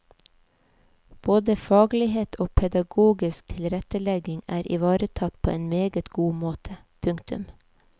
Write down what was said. Både faglighet og pedagogisk tilrettelegging er ivaretatt på en meget god måte. punktum